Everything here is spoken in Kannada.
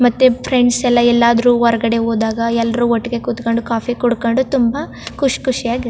ಮತ್ತೆ ಫ್ರೆಂಡ್ಸ್ ಎಲ್ಲಾ ಎಲ್ಲಾದ್ರು ಹೊರಗಡೆ ಹೋದಾಗ ಎಲ್ರು ಒಟ್ಟಿಗೆ ಕುತ್ ಕೊಂಡು ಕಾಫಿ ಕುಡ್ಕೊಂಡು ತುಂಬಾ ಖುಷ್ ಖುಷಿಯಾಗಿ --